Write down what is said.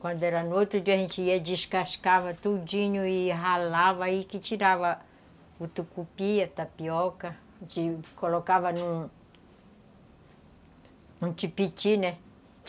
Quando era no outro dia a gente ia, descascava tudinho e ralava aí que tirava o tucupi, tapioca, colocava num tipiti, né?